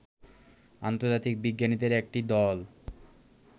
আন্তর্জাতিক বিজ্ঞানীদের একটি দল